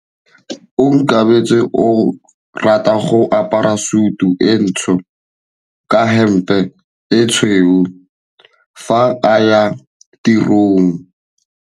Onkabetse o rata go apara sutu e ntsho ka hempe e tshweu fa a ya tirong.